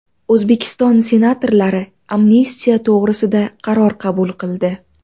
O‘zbekiston senatorlari amnistiya to‘g‘risida qaror qabul qildi .